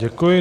Děkuji.